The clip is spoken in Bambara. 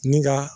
Ni ka